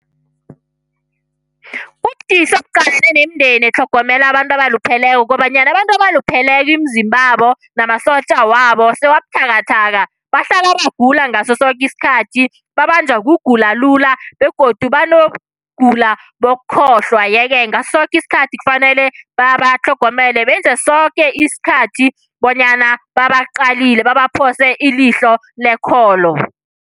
Ubudisi obuqalene nemindeni etlhogomela abantu abalupheleko kobanyana abantu abalupheleko imizimbabo namasotja wabo sewabuthakathaka. Bahlala bagula ngasosoke isikhathi. Babanjwa kugula lula, begodu banokugula bokukhohlwa, yeke ngasosoke isikhathi kufanele babatlhogomele, benze soke iskhathi bonyana babaqalile babaphose ilihlo lekholo.